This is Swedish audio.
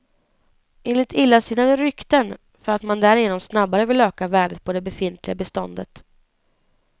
Enligt illasinnade rykten för att man därigenom snabbare vill öka värdet på det befintliga beståndet.